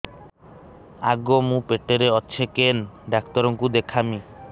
ଆଗୋ ମୁଁ ପେଟରେ ଅଛେ କେନ୍ ଡାକ୍ତର କୁ ଦେଖାମି